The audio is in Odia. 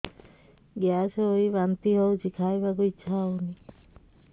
ଗ୍ୟାସ ହୋଇ ବାନ୍ତି ହଉଛି ଖାଇବାକୁ ଇଚ୍ଛା ହଉନି